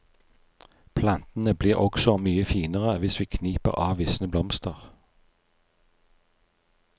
Plantene blir også mye finere hvis vi kniper av visne blomster.